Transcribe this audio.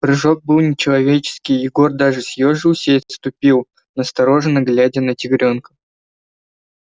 прыжок был нечеловеческий егор даже съёжился и отступил настороженно глядя на тигрёнка